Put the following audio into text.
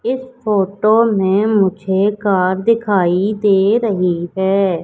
इस फोटो में मुझे कार दिखाई दे रही है।